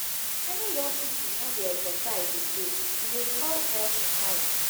many young pipo no dey exercise again e dey cause health wahala.